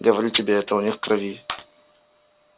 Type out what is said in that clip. говорю тебе это у них в крови